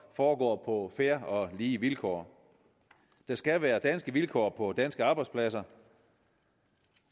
foregår fair og lige vilkår der skal være danske vilkår på danske arbejdspladser